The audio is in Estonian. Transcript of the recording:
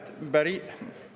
Head kolleegid!